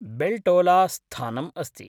बेल्टोला स्थानम् अस्ति।